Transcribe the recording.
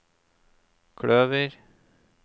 kløver